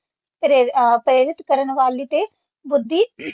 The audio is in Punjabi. ਪ੍ਰੇਰ ਅ ਪ੍ਰੇਰਿਤ ਕਰਨ ਵਾਲੀ ਤੇ ਬੁੱਧੀ